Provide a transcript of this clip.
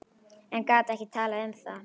En gat ekki talað um það.